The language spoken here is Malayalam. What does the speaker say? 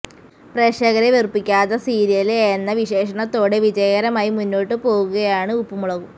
പ്രേക്ഷകരെ വെറുപ്പിക്കാത്ത സീരിയല് എന്ന വിശേഷണത്തോടെ വിജയകരമായി മുന്നോട്ട് പോകുകയാണ് ഉപ്പും മുളകും